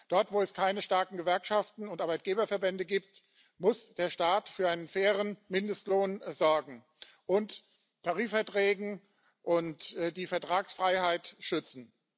Dort, wo es keine starken Gewerkschaften und Arbeitgeberverbände gibt, muss der Staat für einen fairen Mindestlohn sorgen und Tarifverträge und die Vertragsfreiheit schützen.